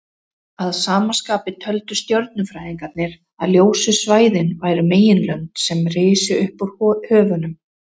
Að sama skapi töldu stjörnufræðingarnir að ljósu svæðin væru meginlönd sem risu upp úr höfunum.